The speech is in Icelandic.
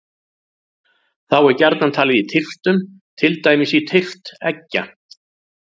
Þá er gjarnan talið í tylftum, til dæmis tylft eggja.